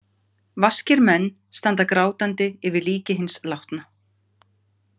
Vaskir menn standa grátandi yfir líki hins látna.